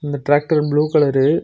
இந்த tractor blue colour --